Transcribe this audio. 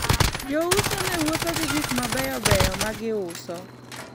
jouso ne wuotho gi gik mabeyo beyo magiuso